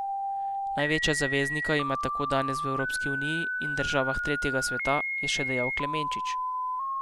Največjega zaveznika ima tako danes v Evropski uniji in državah tretjega sveta, je še dejal Klemenčič.